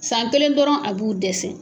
San kelen dɔrɔn a b'u dɛsɛ.